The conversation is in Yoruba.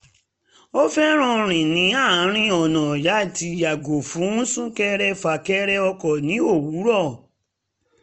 ó fẹ́ràn rìn ní àárín ọ̀nà láti yàgò fún sún-kẹrẹ-fà-kẹrẹ ọkọ̀ ní òwúrọ̀